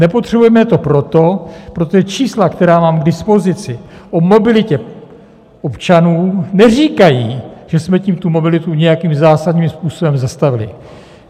Nepotřebujeme to proto, protože čísla, která mám k dispozici o mobilitě občanů neříkají, že jsme tím tu mobilitu nějakým zásadním způsobem zastavili.